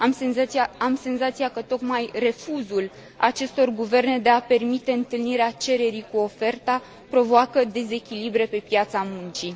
Am senzația că tocmai refuzul acestor guverne de a permite întâlnirea cererii cu oferta provoacă dezechilibre pe piața muncii.